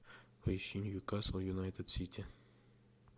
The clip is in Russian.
поищи ньюкасл юнайтед сити